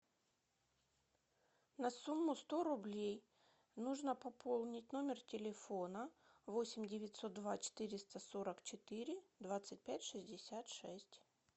на сумму сто рублей нужно пополнить номер телефона восемь девятьсот два четыреста сорок четыре двадцать пять шестьдесят шесть